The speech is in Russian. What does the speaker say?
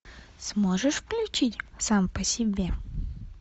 сможешь включить сам по себе